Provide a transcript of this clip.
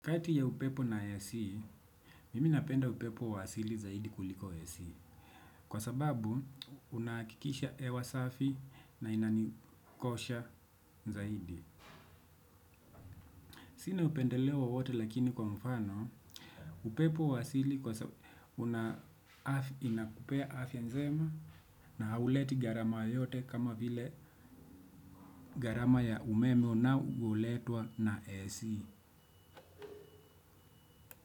Kati ya upepo na AC, mimi napenda upepo wa asili zaidi kuliko AC. Kwa sababu, unahakikisha hewa safi na inanikosha zaidi. Sina upendeleo wowote lakini kwa mfano, upepo wa asili kwa sababu unakupea afya nzema na hauleti gharama yoyote kama vile gharama ya umeme unaoletwa na AC.